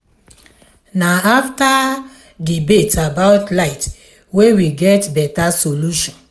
na afta di debate about light wey we get beta solution.